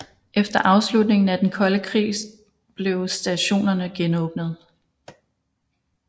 Efter afslutningen af den kolde krigs blev stationerne genåbnet